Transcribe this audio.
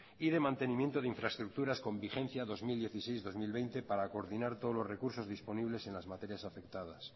y de mantenimiento de infraestructuras con vigencia dos mil dieciséis dos mil veinte para coordinar todos los recursos disponibles en las materias afectadas